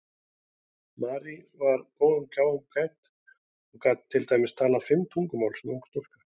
Marie var góðum gáfum gædd og gat til dæmis talað fimm tungumál sem ung stúlka.